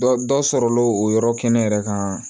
Dɔ dɔ sɔrɔl o yɔrɔ kɛnɛ kan